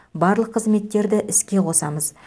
барлық қызметтерді іске қосамыз